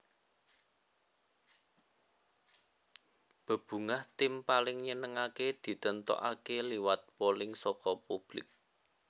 Bebungah Tim Paling Nyenengake ditentokaké liwat polling saka publik